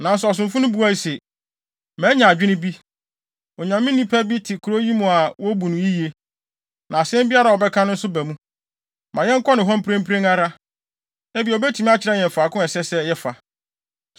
Nanso ɔsomfo no buae se, “Manya adwene bi, Onyame nipa bi te kurow yi mu a wobu no yiye. Na asɛm biara a ɔbɛka nso ba mu. Ma yɛnkɔ ne hɔ mprempren ara, ebia obetumi akyerɛ yɛn faako a ɛsɛ sɛ yɛfa.”